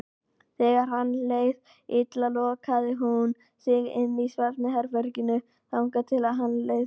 Þegar henni leið illa lokaði hún sig inni í svefnherberginu þangað til henni leið betur.